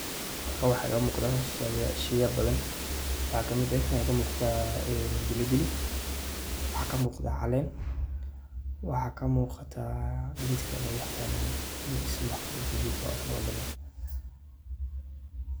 Halkan waxaa iga muqda sheya badan sidha waxaa kamid eh waxaa kamuqataa Pilipili, waxaa kamuqataa calen , gedka lo yiqano magacisa maaqano oo ladaha.